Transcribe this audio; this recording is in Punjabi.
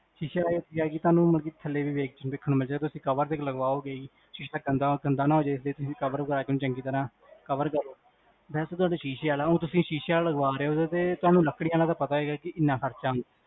ਸ਼ੀਸ਼ੇ ਆਲੇ ਦਾ ਕੀ ਆ, ਤੁਹਾਨੂ ਥੱਲੇ ਵੀ ਵੇਖਣ ਨੂ ਮਿਲ੍ਜੇਗਾ ਤੁਸੀਂ cover ਤੇ ਲਗ੍ਵਾਓਗੇ ਹੀ ਸ਼ੀਸ਼ਾ ਗੰਦਾ ਗੰਦਾ ਨਾ ਹੋਜਾਵੇ ਜੇ ਤੁਸੀਂ cover ਵਗੇਰਾ ਕਰੋਗੇ ਓਨੁ ਚੰਗੀ ਤਰਹ, cover ਕਰੋ ਵੇਸੇ ਤੁਹਾਡਾ ਸ਼ੀਸ਼ੇ ਆਲਾ ਆ, ਊ ਤੁਸੀਂ ਸ਼ੀਸ਼ੇ ਆਲਾ ਲਗਵਾ ਰੇ ਹੋ ਓਦੇ ਤੇ, ਤੁਹਾਨੂ ਲਕੜੀ ਆਲੇ ਦਾ ਪਤਾ ਹੈਗਾ ਕੀ, ਕਿੰਨਾ ਖਰਚਾ ਆਂਦਾ